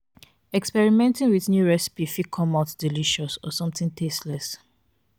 experimenting with new recipes fit come out delicious or something tasteless